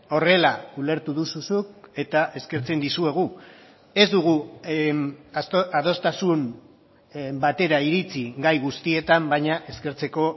horrela ulertu duzu zuk eta eskertzen dizuegu ez dugu adostasun batera iritsi gai guztietan baina eskertzeko